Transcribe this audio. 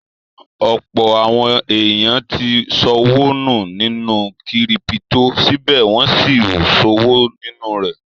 Ọ̀pọ̀ àwọn èèyàn tí ṣọwọ́ nù sínú kírípítò, síbẹ̀ wọ́n n sí ṣòwò nínú rẹ̀